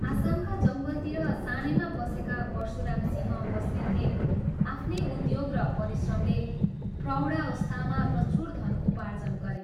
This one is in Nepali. आसामका जङ्गलतिर सानैमा पसेका परशुरामसिंह बस्नेतले आफ्नै उद्योग र परिश्रमले प्रौढावस्थामा प्रचुर धन उपार्जन गरे।